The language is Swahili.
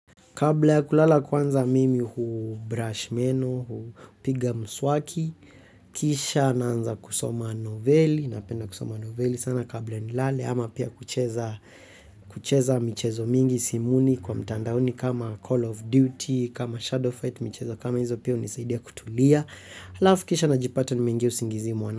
Kabla ya kulala kwanza mimi hu brush meno, hupiga mswaki, kisha naanza kusoma novelli, napenda kusoma novelli sana kabla nilale ama pia kucheza michezo mingi simuni kwa mtandaoni kama Call of Duty, kama Shadow Fight, michezo kama hizo pia hunisaidia kutulia. Alafu kisha najipata nimeingia usingizi mwana.